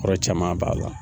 Kɔrɔ caman b'a la.